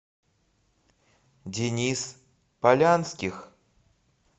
денис полянских